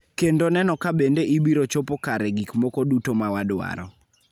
kendo neno ka bende ibiro chopo kare gik moko duto ma wadwaro